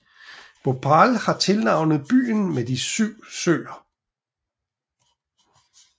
Bhopal har tilnavnet byen med de 7 søer